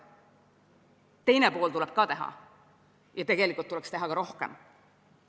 Teine pool tuleb ka ära teha ja tegelikult tuleks teha veel rohkem.